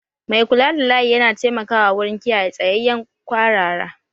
Mai kula da layi yana taimakawa wurin kiyaye tsayayyen kwarara